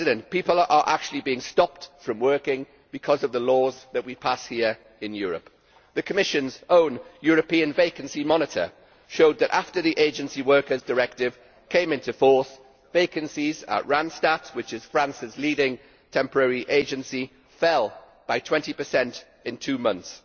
People are actually being stopped from working because of the laws that we pass here in Europe. The Commission's own European vacancy monitor showed that after the Agency Workers Directive came into force, vacancies at Randstad, which is France's leading temporary agency, fell by 20 in two months.